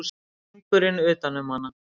Hringurinn utan um hana.